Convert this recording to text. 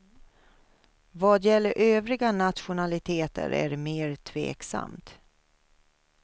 Vad gäller övriga nationaliteter är det mer tveksamt.